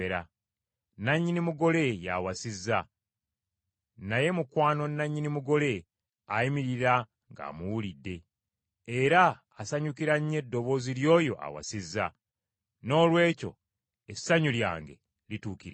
Nannyini mugole ye awasizza, naye mukwano nnannyini mugole ayimirira ng’amuwulidde, era asanyukira nnyo eddoboozi ly’oyo awasizza. Noolwekyo essanyu lyange lituukiridde.